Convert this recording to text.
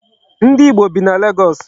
Ndi Igbo bi na Legọọsị.